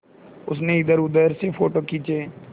उसने इधरउधर से फ़ोटो खींचे